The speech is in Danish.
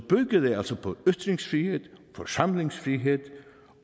altså bygger på ytringsfrihed forsamlingsfrihed